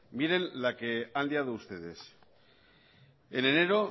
miren la que han liado ustedes en enero